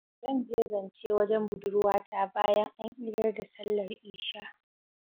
Zan je zance wajen budurwata bayan an idar da sallar isha.